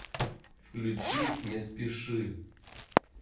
включи не спеши